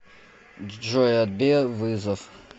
джой отбей вызов